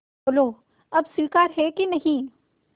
बोलो अब स्वीकार है कि नहीं